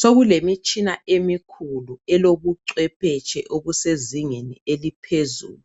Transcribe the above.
Sokulemitshina emikhulu elobucwephetshe obusezingeni eliphezulu